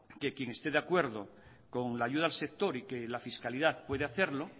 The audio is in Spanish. que quien esté de acuerdo con la ayuda al sector y que la fiscalidad puede hacerlo